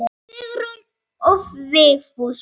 Sigrún og Vigfús.